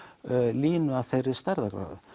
línu af þeirri stærðargráðu